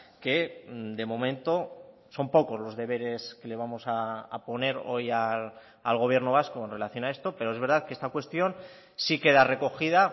que de momento son pocos los deberes que le vamos a poner hoy al gobierno vasco en relación a esto pero es verdad que esta cuestión sí queda recogida